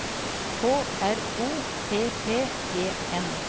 K R O P P E N